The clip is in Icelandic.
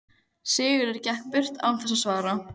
Sigurður gekk burt án þess að svara.